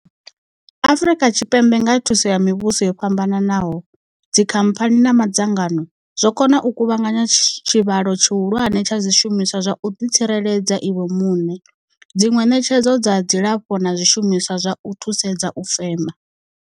Afrika Tshipembe nga kha thuso ya mivhuso yo fhambanaho, dzikhamphani na madzangano zwo kona u kuvhanganya tshivhalo tshihulwane tsha zwishumiswa zwa u ḓitsireledza iwe muṋe, dziṅwe ṋetshedzo dza dzilafho na zwishumiswa zwa u thusedza u fema.